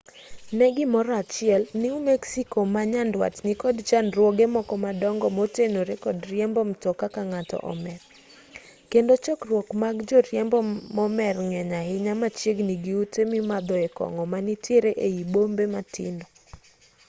ne gimoro achiel new mexico ma nyandwat nikod chandruoge moko madongo motenore kod riembo mtoka ka ng'ato omer kendo chokruok mag joriembo momer ng'eny ahinya machiegni gi ute mimadhoe kong'o manitiere ei bombe matindo